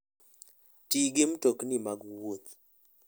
Ti gi mtokni mag wuoth.